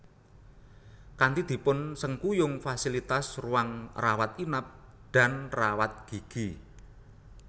Kanti dipun sengkuyung fasilitas ruang rawat inap dan rawat gigi